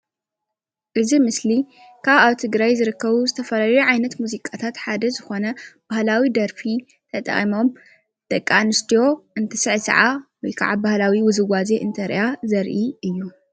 እዚ ምሰሊ ካብ ኣብ ትግራይ ዝርከብ ዝተፈላለዩ ዓይነት ሙዚቃታት ሓደ ዝኾነ ባህላዊ ደርፊ ተጠቂሞም ደቅ ኣንስትዮ እንትስዕስዓ ወይ ከዓ ባህላዊ ውዝውዜ እንትገብራ ዘርኢ ምስሊ እዩ።